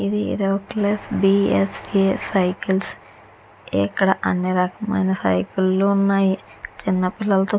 ఇది Hercules B S A cycles ఇక్కడ అన్ని రకాల సైకిల్స్ ఉన్నాయి చిన్న పిల్లలు --